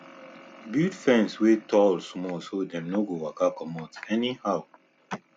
build fence wey tall small so dem no go waka comot anyhow